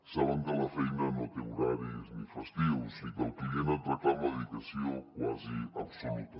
saben que la feina no té horaris ni festius i que el client et reclama dedicació quasi absoluta